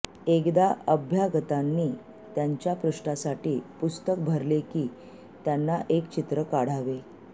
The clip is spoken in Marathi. एकदा अभ्यागतांनी त्यांच्या पृष्ठासाठी पुस्तक भरले की त्यांना एक चित्र काढावे